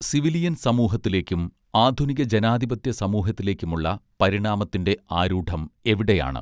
civilian സമൂഹത്തിലേക്കും ആധുനിക ജനാധിപത്യസമൂഹത്തിലേക്കുമുള്ള പരിണാമത്തിന്റെ ആരൂഢം എവിടെയാണ്